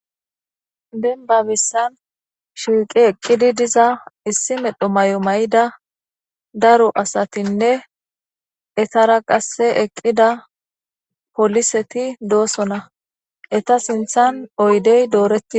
denbabessan shiiqi eqqidi diza issi medho may7o may7ida daro asatinne etara qasse eqqida poliseti doosona eta sinthan oydey dooreti